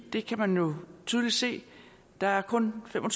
det kan man jo tydeligt se der er kun fem og